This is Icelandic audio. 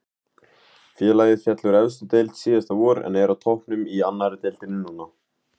Félagið féll úr efstu deild síðasta vor en er á toppnum í annari deildinni núna.